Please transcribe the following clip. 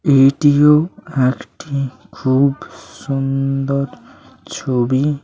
এটিও একটি খুব সুন্দ-অর ছবি--